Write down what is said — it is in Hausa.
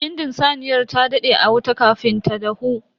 Bindin saniyar ta dade a wuta kafin ta dahu.